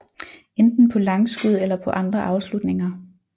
Enten på langskud eller på andre afslutninger